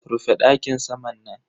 Rufe dakin saman nan.